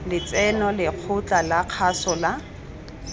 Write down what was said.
letseno lekgotla la kgaso la